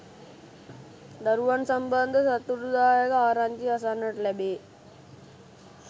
දරුවන් සම්බන්ධ සතුටුදායක ආරංචි අසන්නට ලැබේ.